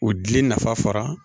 O dili nafa fara